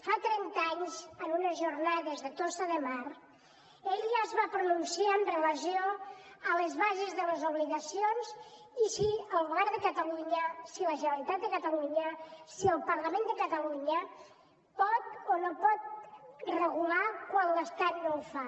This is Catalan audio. fa trenta anys en unes jornades a tossa de mar ell ja es va pronunciar amb relació a les bases de les obligacions i si el govern de catalunya si la generalitat de catalunya si el parlament de catalunya pot o no pot regular quan l’estat no ho fa